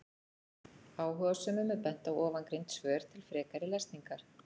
Áhugasömum er bent á ofangreind svör til frekari lesningar.